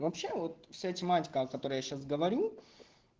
вообще вот все тематика которая сейчас говорю